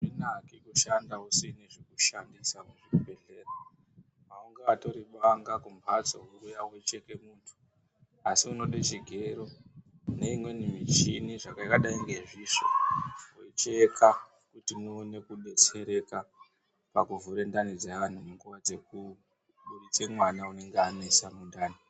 Azvinaki kushanda usina zvekushandisa muzvibhedhlera. Aungatori banga mumhatso wouya wocheka muntu. Asi unoda chigero neimweni muchini yakadai ngezvisvo, wocheka kuti muone kudetsereka pakuvhura ndani dzeantu munguva dzekubuditsa mwana unenge wanesa mundani.